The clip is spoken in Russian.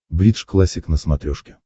бридж классик на смотрешке